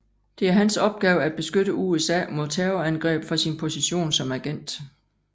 Det er hans opgave at beskytte USA mod terrorangreb fra sin position som agent